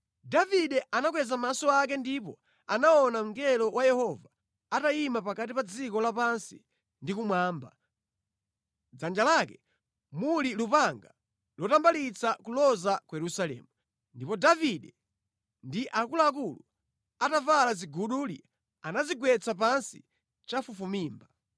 Davide anakweza maso ake ndipo anaona mngelo wa Yehova atayima pakati pa dziko lapansi ndi kumwamba, mʼdzanja lake muli lupanga lotambalitsa kuloza ku Yerusalemu. Ndipo Davide ndi akuluakulu, atavala ziguduli, anadzigwetsa pansi chafufumimba.